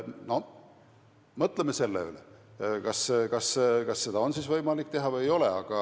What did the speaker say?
No mõtleme selle üle, kas seda on võimalik teha või ei ole.